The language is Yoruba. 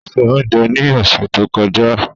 O ṣé oúnjẹ ní ọ̀sẹ̀ tó kọjá.